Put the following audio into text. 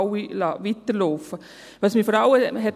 Das Folgende hat mich vor allem ans Rednerpult geholt: